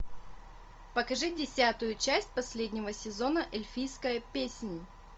покажи десятую часть последнего сезона эльфийская песнь